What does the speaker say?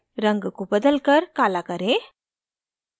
रंग को बदलकर काला करें